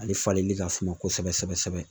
Ale falenli ka suma kosɛbɛ kosɛbɛ